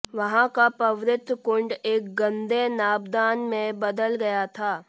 वहां का पवित्र कुंड एक गंदे नाबदान में बदल गया था